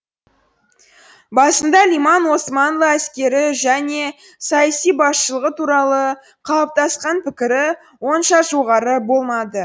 басында лиман османлы әскері және саяси басшылығы туралы қалыптасқан пікірі онша жоғары болмады